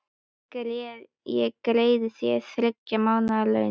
Ég greiði þér þriggja mánaða laun.